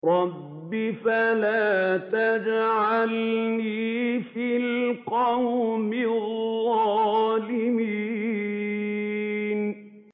رَبِّ فَلَا تَجْعَلْنِي فِي الْقَوْمِ الظَّالِمِينَ